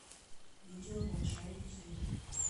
видео малышарики звери